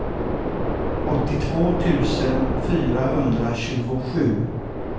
åttiotvå tusen fyrahundratjugosju